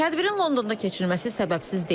Tədbirin Londonda keçirilməsi səbəbsiz deyil.